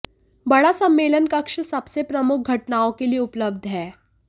बड़ा सम्मेलन कक्ष सबसे प्रमुख घटनाओं के लिए उपलब्ध है